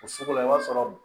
O sugu la i b'a sɔrɔ